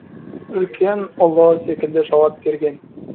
үлкен ұлы секілді жауап берген